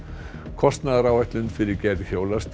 kostnaðaráætlun fyrir gerð